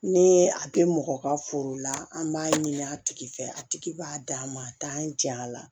Ni a bɛ mɔgɔ ka foro la an b'a ɲini a tigi fɛ a tigi b'a d'a ma a t'an janya a la